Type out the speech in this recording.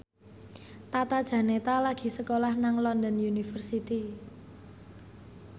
Tata Janeta lagi sekolah nang London University